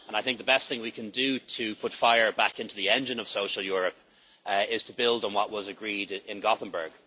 I think the best thing we can do to put fire back into the engine of social Europe is to build on what was agreed in Gothenburg.